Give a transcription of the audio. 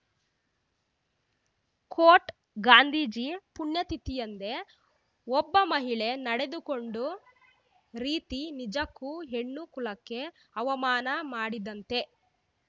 coat Gandhiji ಪುಣ್ಯತಿಥಿಯಂದೇ ಒಬ್ಬ ಮಹಿಳೆ ನಡೆದುಕೊಂಡ ರೀತಿ ನಿಜಕ್ಕೂ ಹೆಣ್ಣು ಕುಲಕ್ಕೆ ಅವಮಾನ ಮಾಡಿದಂತೆ